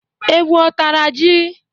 Ewu ọ tara ji?